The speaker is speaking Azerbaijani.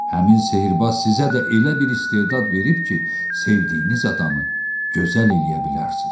Həmin sehrbaz sizə də elə bir istedad verib ki, sevdiyiniz adamı gözəl eləyə bilərsiz.